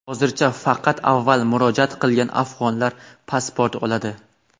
Hozircha faqat avval murojaat qilgan afg‘onlar pasport oladi.